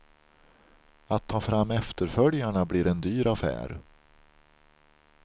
Att ta fram efterföljarna blir en dyr affär.